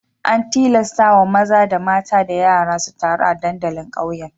An tilastawa maza da mata da yara su taru a dandalin ƙauyen.